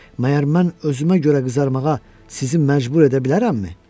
Məyər mən özümə görə qızarmağa sizi məcbur edə bilərəmmi?